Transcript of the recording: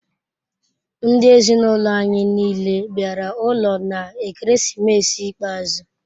Ndi ezinaụlọ anyị niile bịara ụlọ n'ekeresimesi ikpeazụ.